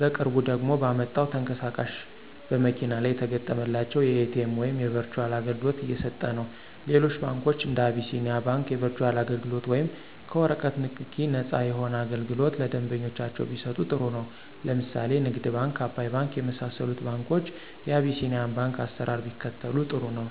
በቅርቡ ደግሞ ባመጣው ተንቀሳቃሽ በመኪና ላይ የተገጠመላቸው የኤቲኤም ወይም የበርቹአል አገልግሎት እየሰጠነው። ሌሎች ባንኮች እንደ አቢስኒያ ባንክ የበርቹአል አገልግሎት ወይም ከወረቀት ንክኪ ነፃ የሆነ አገልግሎት ለደንበኞቻቸው ቢሰጡ ጥሩ ነው። ለምሳሌ ንግድ ባንክ፣ አባይ ባንክ የመሳሰሉት ባንኮች የቢሲኒያን ባንክ አሰራር ቢከተሉ ጥሩ ነው።